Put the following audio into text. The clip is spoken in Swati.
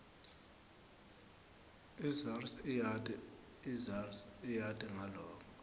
isars iyati ngaloko